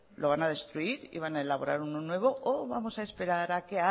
lo van a destruir y van a elaborar uno nuevo o vamos a esperar a que